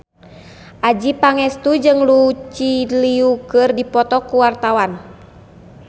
Adjie Pangestu jeung Lucy Liu keur dipoto ku wartawan